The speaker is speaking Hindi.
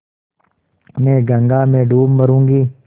मैं गंगा में डूब मरुँगी